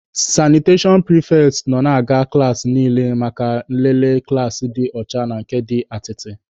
Sanitashọn pịrịfetị nọ na-aga klaasị niile maka nlele klaasị dị ọcha na nke dị atịtị.